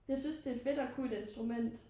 Jeg synes det er fedt og kunne et instrument